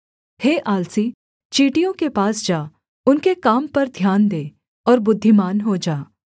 हे आलसी चींटियों के पास जा उनके काम पर ध्यान दे और बुद्धिमान हो जा